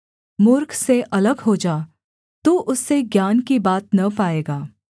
मूर्ख से अलग हो जा तू उससे ज्ञान की बात न पाएगा